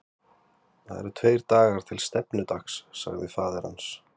Það eru tveir dagar til stefnudags, sagði faðir hans.